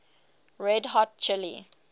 red hot chili